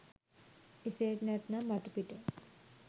එසේත් නැත්නම් මතුපිට